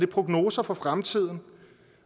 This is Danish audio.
prognoser for fremtiden